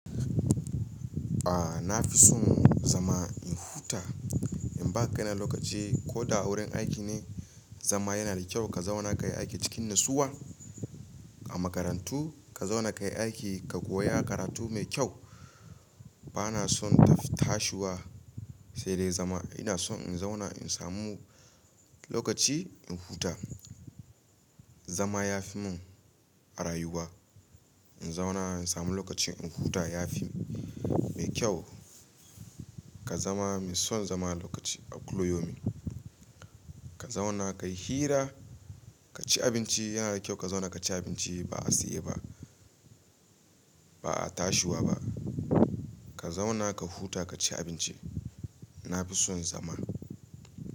A, na fi son zama in huta, in ba kai na lokaci ko da wurin aiki ne zama yana da kyau ka zauna kai aiki cikin nutsuwa. A makarantu ka zauna kai aiki ka koya karatu mai kyau. Bana son tafi tashiwa sai dai zama. Ina son in zauna in samu lokaci in huta. Zama ya fi mun a rayuwa. In zauna in samu lokaci in huta ya fi mai kyau. Ka zama mai son zama lokaci a kullu yaumin. Ka zauna ka yi hira, ka ci abinci yana da kyau ka zauna ka ci abinci ba a siye ba. Ba a tashiwa ba. Ka zauna ka huta ka ci abinci. Na fi son zama.